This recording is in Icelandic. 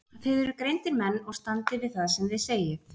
Þið eruð greindir menn og standið við það sem þið segið.